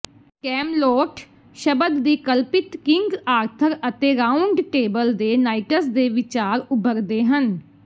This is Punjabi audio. ਕੈਮਲੋਟ ਸ਼ਬਦ ਦੀ ਕਲਪਿਤ ਕਿੰਗ ਆਰਥਰ ਅਤੇ ਰਾਊਂਡ ਟੇਬਲ ਦੇ ਨਾਈਟਸ ਦੇ ਵਿਚਾਰ ਉੱਭਰਦੇ ਹਨ